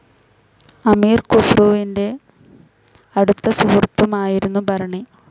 അമീർ ഖുസ്രുവിന്റെ അടുത്ത സുഹൃത്തുമായിരുന്നു ബർണി.